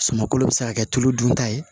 Suman kolo bɛ se ka kɛ tulu dunta ye